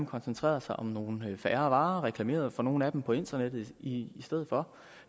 koncentrere sig om nogle færre varer og reklamere for nogle af dem på internettet i stedet for